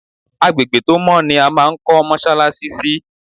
Agbègbè tó mọ́ ni a máa ń kọ́ mọ́ṣáláṣí sí.